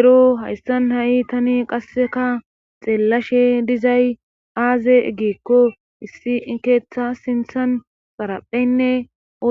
Ero hayssan ha7i tani qasseka xeellashe dizay aaze eggiekko issi keetha sinthan parapheynne